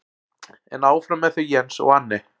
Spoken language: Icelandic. En áfram með þau Jens og Anne.